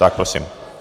Tak prosím.